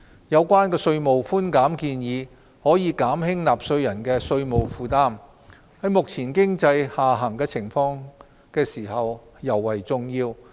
有關的稅務寬減建議可減輕納稅人的稅務負擔，在目前經濟下行時尤為重要。